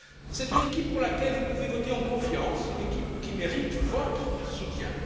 C'est une équipe pour laquelle vous pouvez voter en confiance, une équipe qui mérite votre soutien.